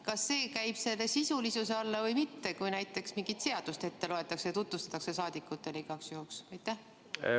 Kas see läheb sisulisuse alla või mitte, kui näiteks mingit seadust ette loetakse ja saadikutele igaks juhuks tutvustatakse?